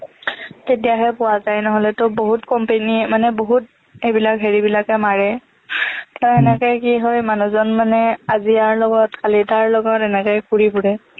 তেতিয়াহে পোৱা যায় নহ'লেতো বহুত company য়ে মানে বহুত এইবিলাক হেৰিবিলাকে মাৰে ত এনেকে কি হয় মানুহজন মানে আজি আৰ লগত কালি তাৰ লগত এনেকেই ঘূৰি ফুৰে